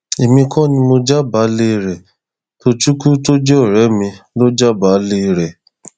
èmi kò ní mọ jábàálẹ rẹ tohecken tó jẹ ọrẹ mi lọ jábàálẹ rẹ